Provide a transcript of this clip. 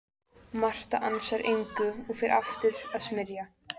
Marta ansar engu og fer aftur að smyrja.